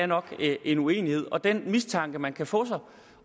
nok er en uenighed og den mistanke man kan få